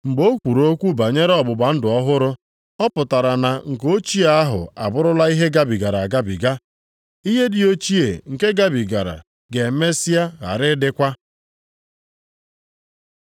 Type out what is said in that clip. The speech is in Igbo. Mgbe o kwuru okwu banyere ọgbụgba ndụ ọhụrụ, ọ pụtara na nke ochie ahụ abụrụla ihe gabigara agabiga. Ihe dị ochie nke gabigara ga-emesịa ghara ịdịkwa.